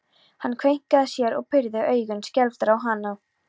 Hann kveinkaði sér og pírði augun skelfdur á hana.